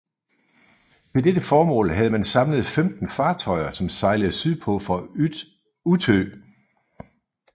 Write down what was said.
Til dette formål havde man samlet 15 fartøjer som sejlede sydpå fra Utö